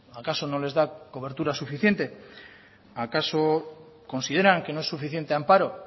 acaso no les da cobertura suficiente acaso consideran que no es suficiente amparo